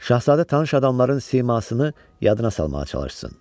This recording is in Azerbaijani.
Şahzadə tanış adamların simasını yadına salmağa çalışsın.